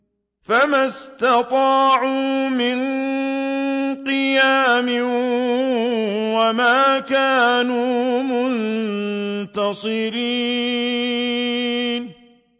فَمَا اسْتَطَاعُوا مِن قِيَامٍ وَمَا كَانُوا مُنتَصِرِينَ